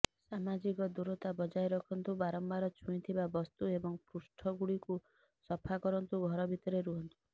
ସାମାଜିକ ଦୂରତା ବଜାୟ ରଖନ୍ତୁ ବାରମ୍ବାର ଛୁଇଁଥିବା ବସ୍ତୁ ଏବଂ ପୃଷ୍ଠଗୁଡ଼ିକୁ ସଫା କରନ୍ତୁ ଘର ଭିତରେ ରହନ୍ତୁ